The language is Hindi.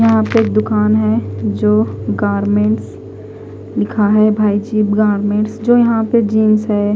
यहा पे एक दुकान है जो गारमेंट्स लिखा है भाई जो चिव गारमेंट्स जो यहा पे जीन्स है।